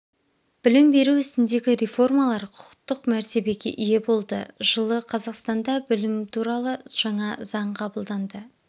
білім беру ісіндегі реформалар құқықтық мәртебеге ие болды жылы қазақстанда білім туралы жаңа заң қабылданды